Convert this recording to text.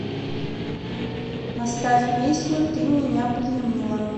поставь песню ты меня пленила